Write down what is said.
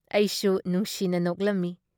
ꯑꯩꯁꯨ ꯅꯨꯡꯁꯤꯅ ꯅꯣꯛꯂꯝꯃꯤ ꯫